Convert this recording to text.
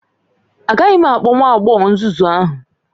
Agaghị m akpọ nwa agbọghọ nzuzu ahụ